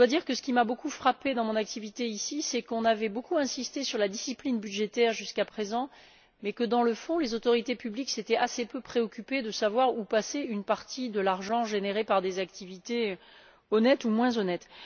Ce qui m'a beaucoup frappée dans mon activité ici, c'est qu'on avait nettement insisté sur la discipline budgétaire jusqu'à présent, mais que, dans le fond, les autorités publiques s'étaient assez peu préoccupées de savoir où était passé une partie de l'argent généré par des activités honnêtes ou moins honnêtes.